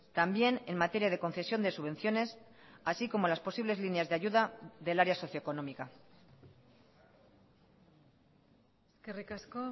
también en materia de concesión de subvenciones así como las posibles líneas de ayuda del área socioeconómica eskerrik asko